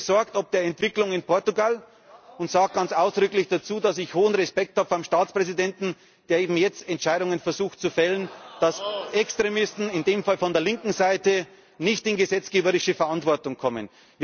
Ich bin besorgt ob der Entwicklung in Portugal und sage ganz ausdrücklich dazu, dass ich hohen Respekt vor dem Staatspräsidenten habe, der eben jetzt Entscheidungen versucht zu fällen, dass Extremisten, in diesem Fall von der linken Seite, nicht in gesetzgeberische Verantwortung kommen.